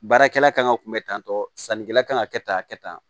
Baarakɛla kan ka kun bɛ tantɔ sannikɛla kan ka kɛ tan a kɛ tan